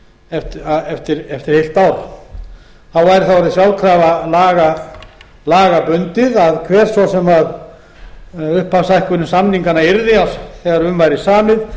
féll úr gildi eftir heilt ár þá er það orðið sjálfkrafa lögbundið að hver svo sem upphafshækkun samninganna yrði þegar um væri samið